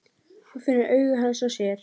Hún finnur augu hans á sér.